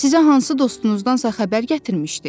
Bəlkə sizə hansı dostunuzdansa xəbər gətirmişdi?